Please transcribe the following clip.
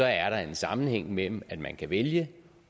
er der en sammenhæng mellem at man kan vælge